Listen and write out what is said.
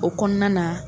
O kɔnɔna na